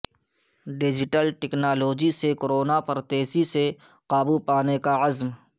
digital technology سے corona پر تیزی سے قابو پانے کا عزم